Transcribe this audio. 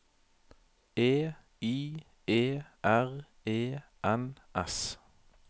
E I E R E N S